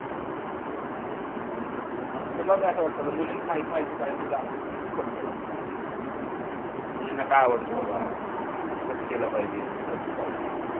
मग तुला कसं वाटते मुलींची माहिती माहिती पाहिजे तुला म्हणून phone केला. मुलींना काय आवडतं बाबा कसं केलं पाहिजे birthday party